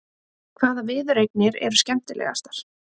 Hvaða viðureignir eru skemmtilegastar?